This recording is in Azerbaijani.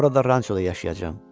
Orada Ranchoda yaşayacam.